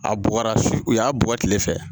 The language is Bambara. A bɔgɔra fi u y'a bɔ kile fɛ